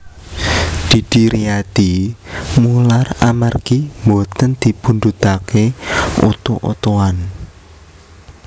Didi Riyadi mular amargi mboten dipundhutake oto otoan